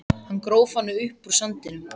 Hann gróf hana upp úr sandinum!